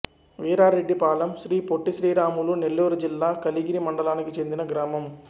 వీరారెడ్డిపాళెం శ్రీ పొట్టి శ్రీరాములు నెల్లూరు జిల్లా కలిగిరి మండలానికి చెందిన గ్రామం